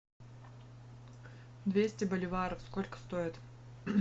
двести боливаров сколько стоят